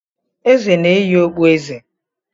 Eze na-eyi okpueze.